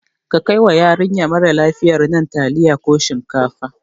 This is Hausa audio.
Ka kai wa yarinya marar lafiyan nan taliya ko shinkafa